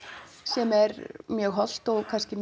sem er mjög hollt og kannski